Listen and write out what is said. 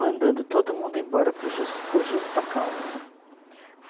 mandando todo mundo embora por jus, por justa causa.